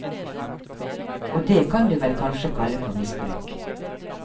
Og det kan du vel kanskje kalle for misbruk.